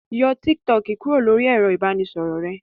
Yọ Tik Tok kúrò lóri ẹ̀rọ ìbánisọ̀rọ̀ rẹ.